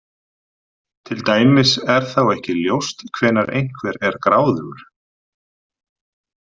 Til dæmis er þá ekki ljóst hvenær einhver er gráðugur.